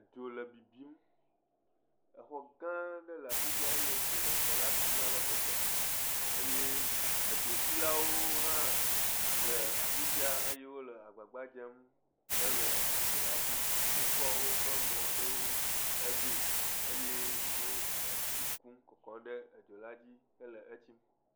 Dzo le bibim. Exɔgãã aɖe le afi sia eye dzo le xɔla bim ale gbegbe eye edzotsilawo hã le afi sia eye wole agbagba dzem hele edzola tsim. Wokɔ woƒe mɔ̃ aɖewo hevee, eye wo etsi kum kɔ kɔ ɖe edzola dzi hele etsim.